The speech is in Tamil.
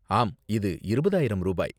ஆம், இது இருபதாயிரம் ரூபாய்.